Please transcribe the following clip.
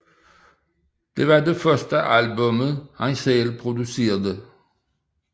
Det var det første album han selv producerede